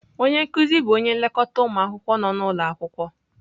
Onye nkuzi bụ onye nlekọta ụmụ akwụkwọ nọ n'ụlọ akwụkwọ.